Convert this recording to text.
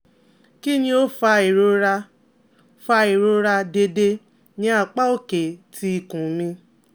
Kini o fa irora fa irora deede ni apa oke ti ikun mi?